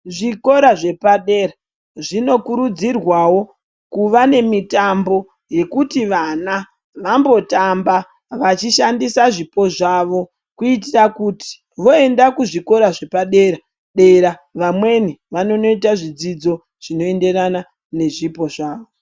Zvikora zvepadera zvinokurudzirwawo kuva nemitambo yekuti vana vambotamba vachishandisa zvipo zvavo kuitira kuti voende kuzvikora zvepadera vamweni vanondoita zvidzidzo zvinoenderana nezvipo zvavo.